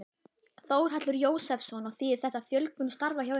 Þórhallur Jósefsson: Og þýðir þetta fjölgun starfa hjá ykkur?